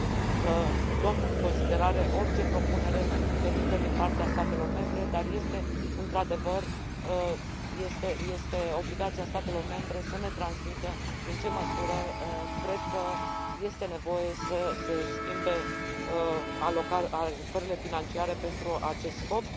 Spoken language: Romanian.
că luăm în considerare orice propunere venită din partea statelor membre, dar este, într adevăr, obligația statelor membre să ne transmită în ce măsură cred că este nevoie să se schimbe alocările financiare pentru acest scop.